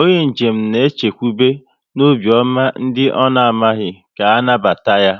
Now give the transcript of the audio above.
onye njem na e chekwube n'obiọma ndị ọ na amaghị ka anabata ya